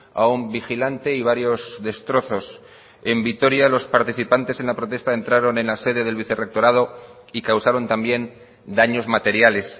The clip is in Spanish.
a un vigilante y varios destrozos en vitoria los participantes en la protesta entraron en la sede del vicerrectorado y causaron también daños materiales